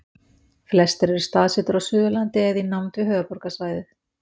Flestir eru staðsettir á Suðurlandi eða í nánd við höfuðborgarsvæðið.